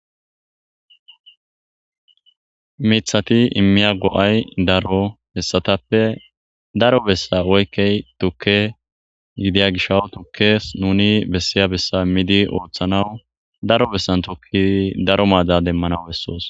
mithati immiya go7ay daro hessatappe daro bessa woykkey tukke gidiya gishawu tukkes nuni bessiya bessa immidi ooththanaw daro bessan tokki daro maada demmanaw bessoos